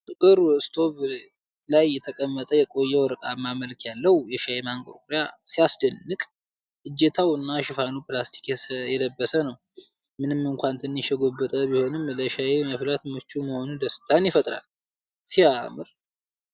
ጥቁር ስቶቭላይ የተቀመጠ የቆየ ወርቃማ መልክ ያለው የሻይ ማንቆርቆሪያ ሲያስደንቅ። እጀታው እና ሽፋኑ ፕላስቲክ የለበሰ ነው። ምንም እንኳን ትንሽ የጎበጠ ቢሆንም ለሻይ መፍላት ምቹ መሆኑ ደስታን ይፈጥራል። እረ ሲያምር!።